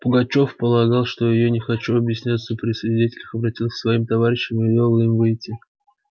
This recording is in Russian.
пугачёв полагал что я не хочу объясняться при свидетелях обратился к своим товарищам и велел им выйти